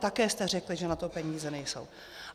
Také jste řekl, že na to peníze nejsou.